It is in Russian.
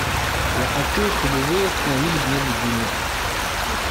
я хочу чтобы вы установили мне будильник